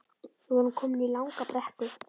Við vorum komin í langa brekku